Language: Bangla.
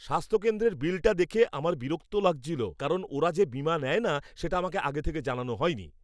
স্বাস্থ্যকেন্দ্রের বিলটা দেখে আমার বিরক্তি লাগছিল কারণ ওরা যে বীমা নেয় না সেটা আমাকে আগে থেকে জানানো হয়নি।